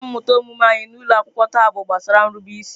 Ihe mmụta omume anyị n’ụlọ akwụkwọ taa bụ gbasara nrube isi.